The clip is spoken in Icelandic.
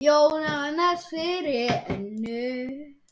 Jónsson fyrir Önnu.